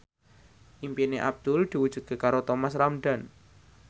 impine Abdul diwujudke karo Thomas Ramdhan